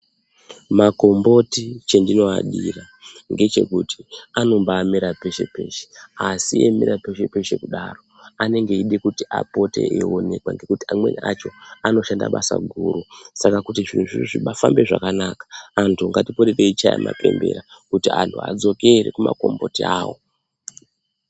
Magomboti chendinoadira ngechekuti anombaamera peshe -peshe, asi eimera peshe-peshe kudaro anenge eida kupote eionekwa, ngekuti amweni acho, anoshanda basa guru, saka kuti zviro zvibaafambe zvakanaka ,antu ngatipote teichaye mabembera ,kuti antu adzokere kumagomboti awo.